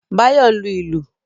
Báyọ̀ ń lu ìlù